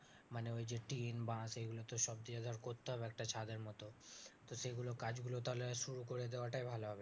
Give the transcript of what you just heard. মানে ওই যে টিন বাঁশ এগুতো সব দিয়ে ধর করতে হবে একটা ছাদের মতো তো সেই গুলো কাজগুলো তাহলে শুরু করে দেওয়া টাই ভালো হবে